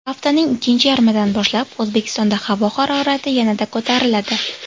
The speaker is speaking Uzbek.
Haftaning ikkinchi yarmidan boshlab O‘zbekistonda havo harorati yanada ko‘tariladi.